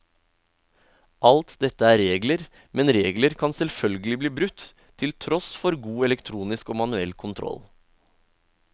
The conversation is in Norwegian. Alt dette er regler, men regler kan selvfølgelig bli brutt, til tross for god elektronisk og manuell kontroll.